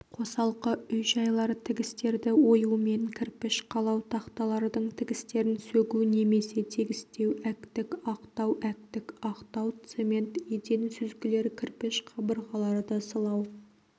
қосалқы үй-жайлар тігістерді оюмен кірпіш қалау тақталардың тігістерін сөгу немесе тегістеу әктік ақтау әктік ақтау цемент еден сүзгілер кірпіш қабырғаларды сылау